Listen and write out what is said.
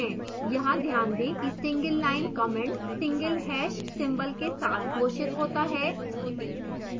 यहाँ ध्यान दें कि single line comments single hash # single के साथ घोषित होते हैं